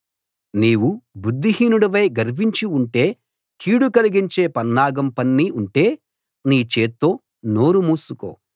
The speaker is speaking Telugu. నీవు బుద్ధిహీనుడవై గర్వించి ఉంటే కీడు కలిగించే పన్నాగం పన్ని ఉంటే నీ చేత్తో నోరు మూసుకో